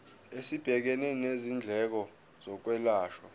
esibhekene nezindleko zokwelashwa